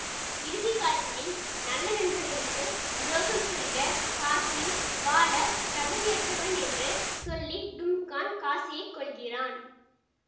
இறுதி காட்சியில் நல்ல நண்பர்களுக்குத் துரோகம் செய்த காசி வாழ தகுதியற்றவன் என்று சொல்லி டும்கான் காசியைக் கொல்கிறான்